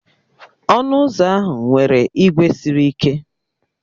Ọnụ ụzọ ahụ nwere ígwè sịrị ike